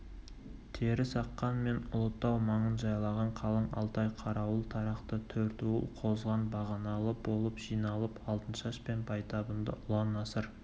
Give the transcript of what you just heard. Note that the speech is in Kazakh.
терісаққан мен ұлытау маңын жайлаған қалың алтай қарауыл тарақты төртуыл қозған бағаналы болып жиналып алтыншаш пен байтабынды ұлан-асыр